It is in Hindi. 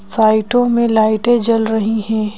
साइटों में लाइटें जल रही है।